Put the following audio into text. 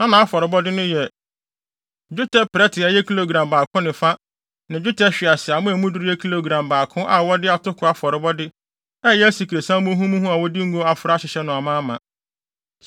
Na nʼafɔrebɔde no yɛ: dwetɛ prɛte a ɛyɛ kilogram baako ne fa ne dwetɛ hweaseammɔ a emu duru yɛ kilogram baako a wɔde atoko afɔrebɔde a ɛyɛ asikresiam muhumuhu a wɔde ngo afra ahyehyɛ no amaama;